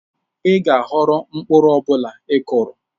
Ị ga-aghọrọ mkpụrụ ọ bụla ị kụrụ.